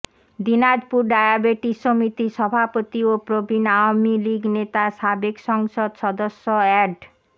Dinajpur diabetes সমিতির সভাপতি ও প্রবীণ আওয়ামী লীগ নেতা সাবেক সংসদ সদস্য অ্যাড